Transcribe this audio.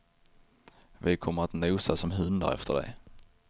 Vi kommer att nosa som hundar efter dig.